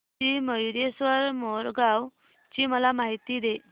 श्री मयूरेश्वर मोरगाव ची मला माहिती दे